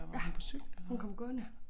Ja hun kom gående